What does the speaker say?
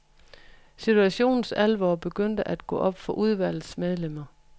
Situationens alvor begyndte at gå op for udvalgets medlemmer.